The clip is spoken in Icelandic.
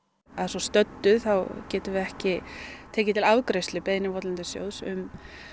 að svo stöddu getum við ekki tekið til afgreiðslu beiðni votlendissjóðs um